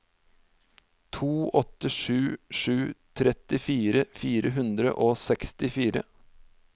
to åtte sju sju trettifire fire hundre og sekstifire